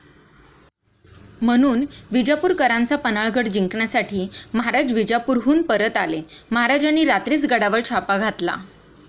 म्हणून विजापूरकरांचा पन्हाळगड जिंकण्यासाठी महाराज विजापुरहून परत आले, महाराजांनी रात्रीच गडावर छापा घातला.